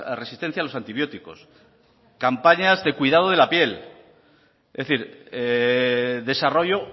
resistencia a los antibióticos campañas de cuidado de la piel es decir desarrollo